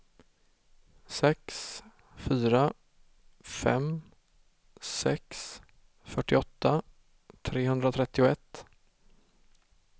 sex fyra fem sex fyrtioåtta trehundratrettioett